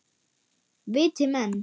Viti menn.